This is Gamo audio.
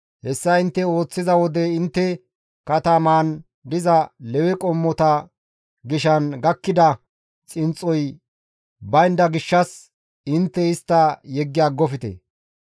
Hessa intte ooththiza wode intte katamaan diza Lewe qommota gishan gakkida xinxxoy baynda gishshas intte istta yeggi aggofte.